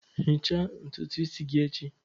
Ghichaa ntutu isi gị echi!